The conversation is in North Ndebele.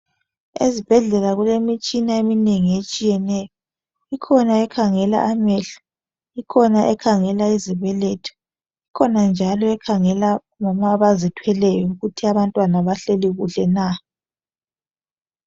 Ezibhedlela kulemitshina eminengi etshiyeneyo ikhona ekhangela amehlo ikhona ekhangela izibeletho ikhona njalo ekhangela omama abazithweleyo ukuthi abantwana bahleli kuhle na.